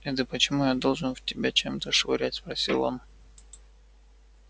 это почему я должен в тебя чем-то швырять спросил он